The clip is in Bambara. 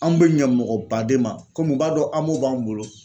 Anw bɛ ɲɛ mɔgɔ baden ma komi u b'a dɔn AMO b'an bolo.